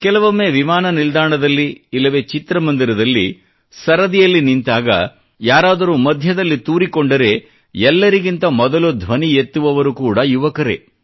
ಕೆಲವೊಮ್ಮೆ ವಿಮಾನ ನಿಲ್ದಾಣದಲ್ಲಿ ಇಲ್ಲವೆ ಚಿತ್ರಮಂದಿರದಲ್ಲಿ ಸರದಿಯಲ್ಲಿ ನಿಂತಾಗ ಯಾರಾದರೂ ಮಧ್ಯದಲ್ಲಿ ತೂರಿಕೊಂಡರೆ ಎಲ್ಲರಿಗಿಂತ ಮೊದಲು ಧ್ವನಿ ಎತ್ತುವವರು ಕೂಡಾ ಯುವಕರೇ